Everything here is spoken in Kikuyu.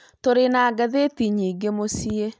Tũrĩ na ngathĩti nyingĩ mũciĩ